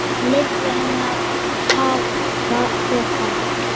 Leyfði henni að hafa pokann.